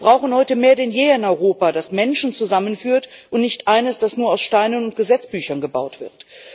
Wir brauchen heute mehr denn je ein Europa, das Menschen zusammenführt, und nicht eines, das nur aus Steinen und Gesetzbüchern gebaut wird.